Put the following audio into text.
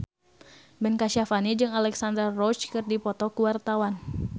Ben Kasyafani jeung Alexandra Roach keur dipoto ku wartawan